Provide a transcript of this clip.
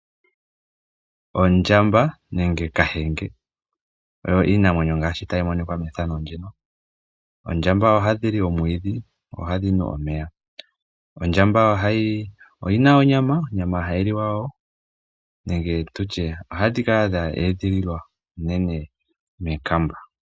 Oondjamba nenge Kahenge ohadhi li omwiidhi dho ohadhi nu omeya. Ondjamba oyi na onyama hayi liwa wo. Ohadhi kala dha edhililwa unene mookamba.